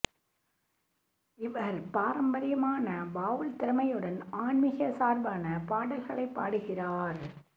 இவர் பாரம்பரியமான பாவுல் திறமையுடன் ஆன்மிகச் சார்பான பாடல்களை பாடுகிறார்